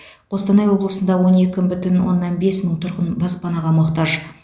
қостанай облысында он екі бүтін оннан бес мың тұрғын баспанаға мұқтаж